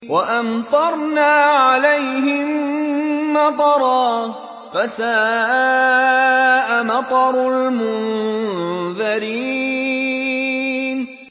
وَأَمْطَرْنَا عَلَيْهِم مَّطَرًا ۖ فَسَاءَ مَطَرُ الْمُنذَرِينَ